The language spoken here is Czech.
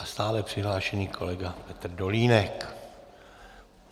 A stále přihlášený kolega Petr Dolínek.